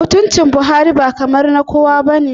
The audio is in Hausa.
Mutuncin Buhari ba kamar na kowa ba ne